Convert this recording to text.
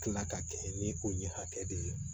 Kila ka kɛ ni ko ni hakɛ de ye